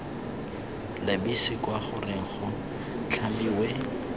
lebise kwa goreng go tlhamiwe